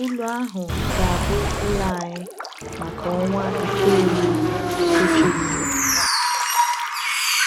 Ụlù ahụ ga-abụ ụlọ anyị maka ọnwa itoolu sochirinụ.